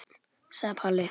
sagði Palli.